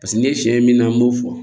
Paseke ni ye sɛ min na an b'o fɔ